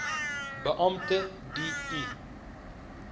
beampte d i